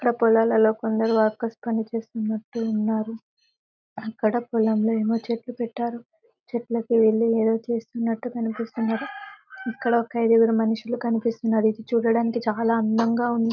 ఇక్కడ పొలాలల్లో కొందరు వర్కర్స్ పనిచేస్తున్నట్టు ఉన్నారు అక్కడ పొలంలో ఏమో చెట్టు పెట్టారు చెట్లకు ఇల్లు వేరే చేస్తునట్టు కనిపిస్తున్నారు ఇక్కడ ఒక ఐదుగురు మనుషులు కనిపిస్తున్నారు ఇది చూడడానికి చాలా అందంగా ఉంది.